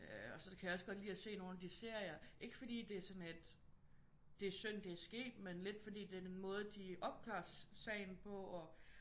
Øh og så kan jeg også godt lide at se nogle af de serier ikke fordi det er sådan et det er synd det er sket men lidt fordi det er den måde de opklares sagen på